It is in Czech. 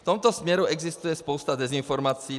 V tomto směru existuje spousta dezinformací.